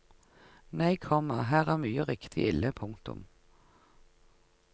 Nei, komma her er mye riktig ille. punktum